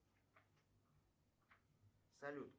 салют